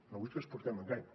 no vull que els portem a engany